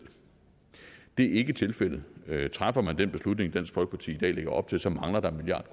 det er ikke tilfældet træffer man den beslutning dansk folkeparti i dag lægger op til så mangler der en milliard